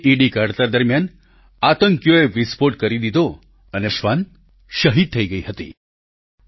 IED કાઢતા દરમિયાન આતંકીઓએ વિસ્ફોટ કરી દીધો અને શ્વાન શહીદ થઈ ગઇ હતી